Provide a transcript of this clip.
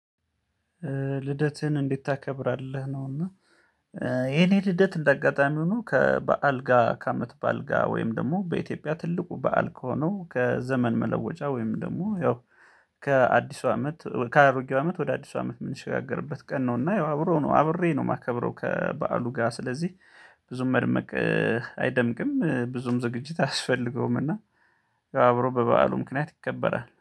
ልደትህን እንድታከብራለህ ነውና። የኔ ልደት እንደ አጋጣሚ ሆኖ ከበአልጋ ከአመት በአልጋ ወይም ደግሞ በኢትዮጵያ ትልቁ በዓል ከሆነው ከዘመን መለወጫ ወይም ደግሞ ያው ከአዲሱ አመት ከአሮጌው አመት ወደ አዲሱ አመት የምንሸጋገርበት ቀን ነው። እና ያው አብረው ነው አብሬ ነው የማከብረው። ከበዓሉ ጋር ስለዚህ ብዙም መድመቅ አይደምቅም ብዙም ዝግጅት አያስፈልገውምና። አብሮ በበዓሉ ምክንያት ይከበራል